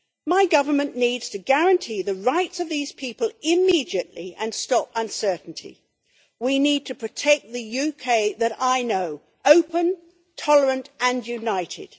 My government needs to guarantee the rights of these people immediately and stop uncertainty. We need to protect the UK that I know open, tolerant and united.